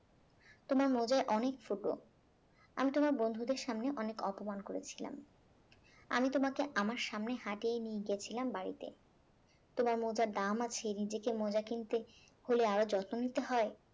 তোমার মোজায় অনেক ফুটো আমি তোমার বন্ধুদের সামনে অনেক অপমান করেছিলাম আমি তোমাকে আমার সামনে হাঁটিয়ে নিয়ে গেছিলাম বাড়িতে তোমার মোজার দাম আছে নিজেকে মোজা কিনতে হলে আরো যত্ন নিতে হয়